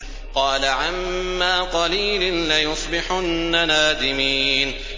قَالَ عَمَّا قَلِيلٍ لَّيُصْبِحُنَّ نَادِمِينَ